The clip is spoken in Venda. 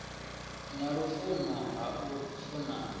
na lufuno ha u funana